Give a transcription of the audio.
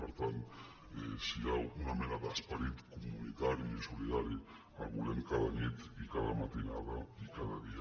per tant si hi ha una mena d’esperit comunitari i solidari el volem cada nit i cada matinada i cada dia